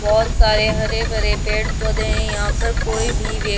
बहोत सारे हरे-भरे पेड़ पौधें हैं। यहां पर कोई भी व्यक् --